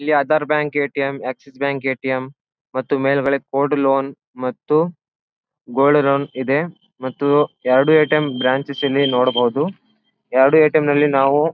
ಇಲ್ಲಿ Aadhaar bank ATM. Axis bank ATM. ಮತ್ತು ಮೇಲ್ಗಡೆ ಗೋಲ್ಡ್ ಲೋನ್ ಮತ್ತು ಗೋಲ್ಡ್ ಲೋನ್ ಇದೆ ಮತ್ತು ಎರಡು ಎ.ಟಿ.ಎಂ. ಬ್ರಾಂಚೆಸ್ ಇಲ್ಲಿ ನೋಡಬಹುದು. ಎರಡು ಎ.ಟಿ.ಎಂ. ನಲ್ಲಿ ನಾವು--